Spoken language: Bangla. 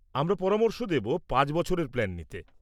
আমরা পরামর্শ দেব পাঁচ বছরের প্ল্যান নিতে।